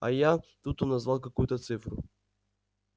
а я тут он назвал какую-то цифру